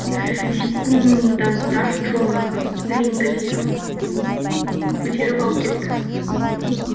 секунданттар джоны рингіден көтеріп алып кетті